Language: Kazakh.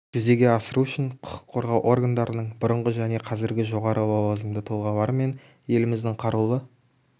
жүзеге асыру үшін құқық қорғау органдарының бұрынғы және қазіргі жоғары лауазымды тұлғалары мен еліміздің қарулы